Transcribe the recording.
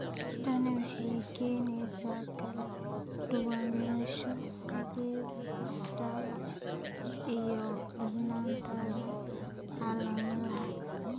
Tani waxay keenaysaa kala duwanaansho xagga baaxadda iyo darnaanta calaamadaha.